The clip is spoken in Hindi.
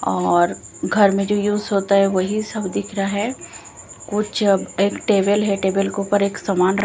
और घर में जो यूज होता है वही सब दिख रहा है कुछ एक टेबल है टेबल के ऊपर एक समान र--